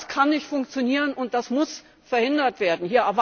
Das kann nicht funktionieren und das muss verhindert werden.